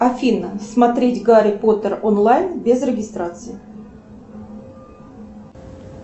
афина смотреть гарри поттер онлайн без регистрации